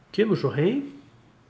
kemur svo heim